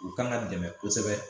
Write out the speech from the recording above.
U kan ka dɛmɛ kosɛbɛ